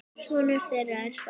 Sonur þeirra er Þór.